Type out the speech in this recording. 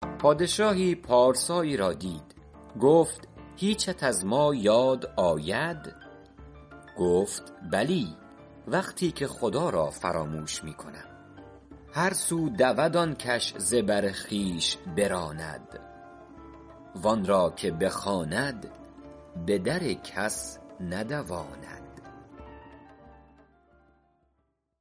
پادشاهی پارسایی را دید گفت هیچت از ما یاد آید گفت بلی وقتی که خدا را فراموش می کنم هر سو دود آن کش ز بر خویش براند وآن را که بخواند به در کس ندواند